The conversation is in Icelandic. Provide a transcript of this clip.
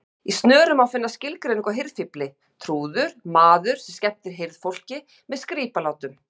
Í Snöru má finna skilgreiningu á hirðfífli: trúður, maður sem skemmtir hirðfólki með skrípalátum.